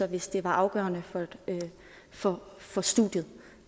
hvis det var afgørende for for studiet